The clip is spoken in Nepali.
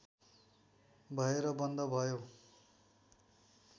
भएर बन्द भयो